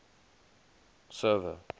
server